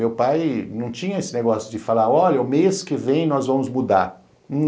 Meu pai não tinha esse negócio de falar, olha, o mês que vem nós vamos mudar.